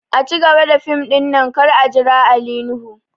A cigaba da fim ɗin nan kar a jira Ali nuhu!